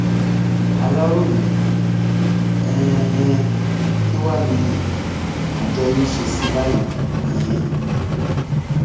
aláròye um kín wàá ni àjọ yín ń ṣe sí i báyìí um